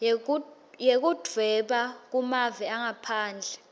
yekudvweba kumave angaphandle